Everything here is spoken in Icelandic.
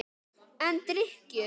En drykkju